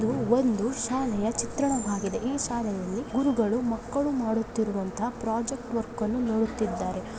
ಇದು ಒಂದು ಶಾಲೆಯ ಚಿತ್ರಣವಾಗಿದೆ ಈ ಶಾಲೆಯಲ್ಲಿ ಗುರುಗಳು ಮಕ್ಕಳು ಮಾಡುತ್ತಿರುವಂತಹ ಪ್ರಾಜೆಕ್ಟ್ ವರ್ಕ್ಗಳನ್ನು ನೋಡುತ್ತಿದ್ದಾರೆ.